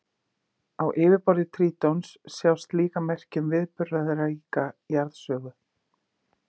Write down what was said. Á yfirborði Trítons sjást líka merki um viðburðaríka jarðsögu.